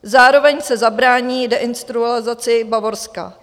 Zároveň se zabrání deindustrializaci Bavorska.